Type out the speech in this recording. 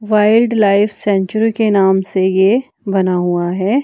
Wildlife sanctuary के नाम से यह बना हुआ है।